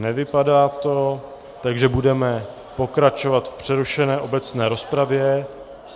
Nevypadá to, takže budeme pokračovat v přerušené obecné rozpravě.